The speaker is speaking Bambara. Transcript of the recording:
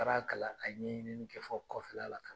Taara kalan a ɲɛɲini kɛ fɔ kɔfɛla la ka na.